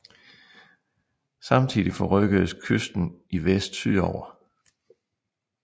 Samtidig forrykkedes kysten i vest sydover